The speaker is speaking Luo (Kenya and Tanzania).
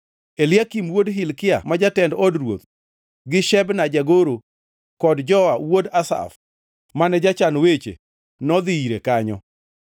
Eliakim wuod Hilkia ma jatend od ruoth, gi Shebna jagoro kod Joa wuod Asaf mane jachan weche, nodhi ire kanyo.